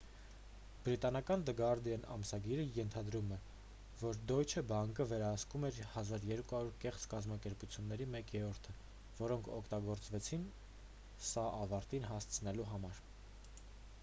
բրիտանական դը գարդիան ամսագիրը ենթադրում է որ դոյչե բանկը վերահսկում էր 1200 կեղծ կազմակերպությունների մեկ երրորդը որոնք օգտագործվեցին սա ավարտին հասցնելու համար